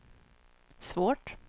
svårt